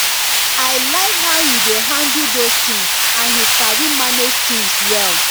i like how he dey handle those things and he sabi manage things well